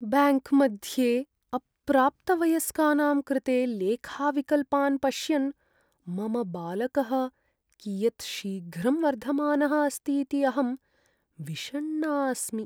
ब्याङ्क्मध्ये अप्राप्तवयस्कानां कृते लेखाविकल्पान् पश्यन् मम बालकः कियत् शीघ्रं वर्धमानः अस्तीति अहं विषण्णा अस्मि।